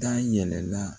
Da yɛlɛla